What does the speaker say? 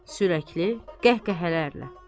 Sürətli qəhqəhələrlə.